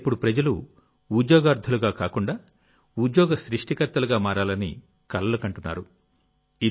ఇక్కడ ఇప్పుడు ప్రజలు ఉద్యోగార్థులుగా కాకుండా ఉద్యోగ సృష్టికర్తలుగా మారాలని కలలు కంటున్నారు